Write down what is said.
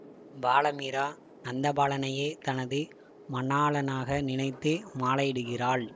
பால மீரா நந்தபாலனையே தனது மணாளனாக நினைத்து மாலையிடுகிறாள்